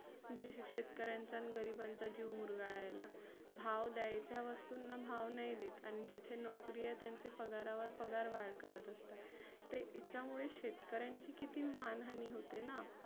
जी शेतकऱ्यांचा गरिबांचा जीव मुरगाळायला. भाव द्यायचा वस्तुंना नाही देत, आन जिथे नोकरी आहे त्याचे पगारावर पगार वाढ करत असतात. ते याच्यामुले शेतकऱ्यांची किती मान हानी होते ना.